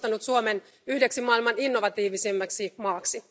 Se on nostanut Suomen yhdeksi maailman innovatiivisimmaksi maaksi.